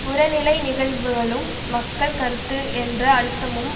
புறநிலை நிகழ்வுகளும் மக்கள் கருத்து என்ற அழுத்தமும்